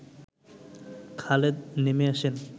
খালেদ নেমে আসেন